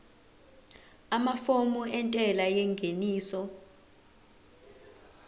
amafomu entela yengeniso